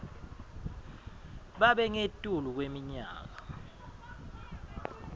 babe ngetulu kweminyaka